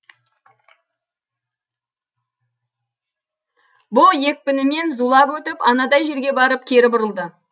бұл екпінімен зулап өтіп анадай жерге барып кері бұрылды